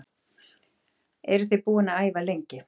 Eruð þið búin að æfa lengi?